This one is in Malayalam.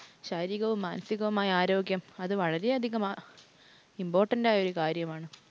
ശാരീരികവും, മാനസികവും ആയ ആരോഗ്യം അത് വളരെ അധികം important ആയ ഒരു കാര്യമാണ്.